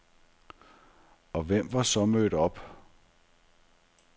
Og hvem var så mødt op?